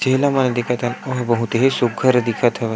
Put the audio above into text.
जेला हमन देखत हन ओ ह बहुत ही सूग्घर दिखत हवय--